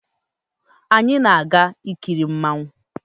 Anyi na-aga ikiri mmanwu